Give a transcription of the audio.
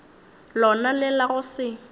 lona le la go se